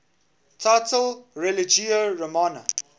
title religio romana